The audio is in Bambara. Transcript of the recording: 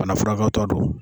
Banafurakɛwtaw don